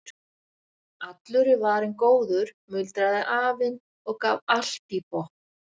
Allur er varinn góður muldraði afinn og gaf allt í botn.